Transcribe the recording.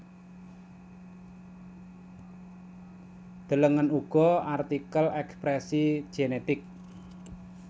Delengen uga artikel ekspresi genetik